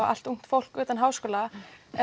allt ungt fólk utan háskóla